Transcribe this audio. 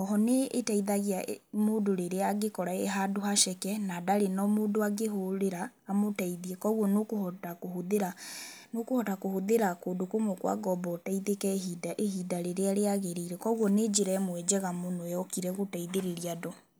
Oho n ĩĩteithagia mũndũ rĩrĩa angĩĩkora e handũ haceke na ndarĩ mũndũ angĩhũũrĩra amũteithie, koguo nĩ ũkũhota kũhũthĩra kũndũ kũmwe kwa ngombo ũteithĩke ihinda rĩrĩa rĩagĩrĩire. Koguo nĩ njĩra ĩmwe njega mũno yokire gũteithĩrĩria andũ.